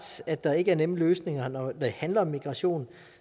at der ikke er nemme løsninger når det handler om migration